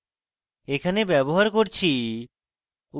এখানে ব্যবহার করছি